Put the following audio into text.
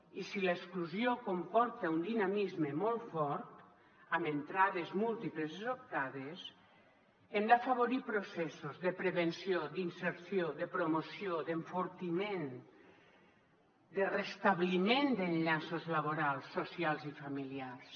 i si l’exclusió comporta un dinamisme molt fort amb entrades múltiples i sobtades hem d’afavorir processos de prevenció d’inserció de promoció d’enfortiment de restabliment d’enllaços laborals socials i familiars